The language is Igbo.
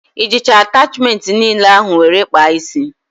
I jicha atachmentị niile ahụ were kpaa ísí?